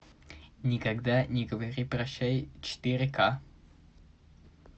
никогда не говори прощай четыре ка